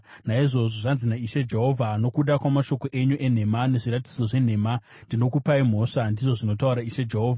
“ ‘Naizvozvo, zvanzi naIshe Jehovha: Nokuda kwamashoko enyu enhema nezviratidzo zvenhema ndinokupai mhosva, ndizvo zvinotaura Ishe Jehovha.